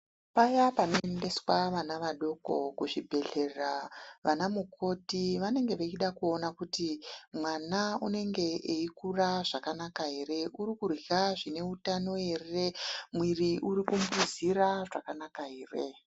Paya panoendeswa vana vadoko kuzvibhedhlera vana mukoti vanenga vachida kuona kuti mwana unenge eikura zvakanaka ere mwana uri kurya zvine utano ere mwiri uri kumbuzira zvakanaka ere.